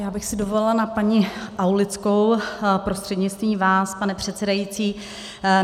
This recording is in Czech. Já bych si dovolila na paní Aulickou prostřednictvím vás, pane předsedající.